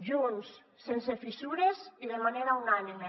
junts sense fissures i de manera unànime